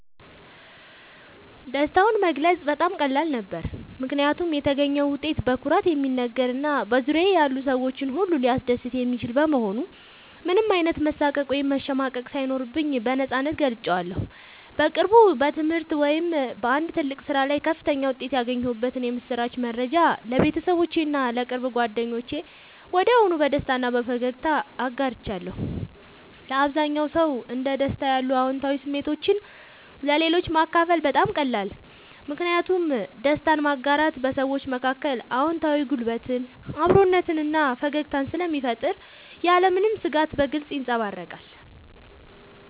ደስታውን መግለጽ በጣም ቀላል ነበር፦ ምክንያቱም የተገኘው ውጤት በኩራት የሚነገር እና በዙሪያዬ ያሉ ሰዎችን ሁሉ ሊያስደስት የሚችል በመሆኑ ምንም አይነት መሳቀቅ ወይም መሸማቀቅ ሳይኖርብኝ በነፃነት ገልጬዋለሁ። በቅርቡ በትምህርት ወይም በአንድ ትልቅ ስራ ላይ ከፍተኛ ውጤት ያገኘሁበትን የምስራች መረጃ ለቤተሰቦቼ እና ለቅርብ ጓደኞቼ ወዲያውኑ በደስታ እና በፈገግታ አጋርቻለሁ። ለአብዛኛው ሰው እንደ ደስታ ያሉ አዎንታዊ ስሜቶችን ለሌሎች ማካፈል በጣም ይቀላል። ምክንያቱም ደስታን ማጋራት በሰዎች መካከል አዎንታዊ ጉልበትን፣ አብሮነትን እና ፈገግታን ስለሚፈጥር ያለምንም ስጋት በግልጽ ይንጸባረቃል።